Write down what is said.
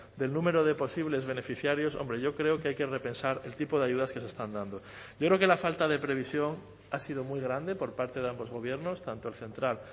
del número de posibles beneficiarios hombre yo creo que hay que repensar el tipo de ayudas que se están dando yo creo que la falta de previsión ha sido muy grande por parte de ambos gobiernos tanto el central